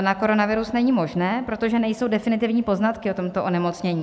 na koronavirus není možné, protože nejsou definitivní poznatky o tomto onemocnění.